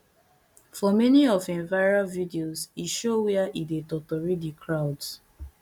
for many of im viral videos e show wia e dey totori di crowds